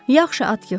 Yaxşı, Atkiç.